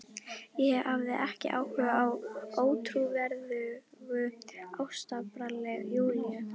Ég hafði ekki áhuga á ótrúverðugu ástabralli Júlíu.